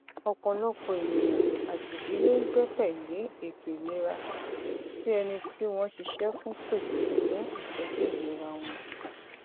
ọpọlọpọ ènìyàn àti ìdílé ń gbẹkẹlé ètò ìlera tí ẹni tí wọn ṣiṣẹ fún pèsè fún ìtọju ìlera wọn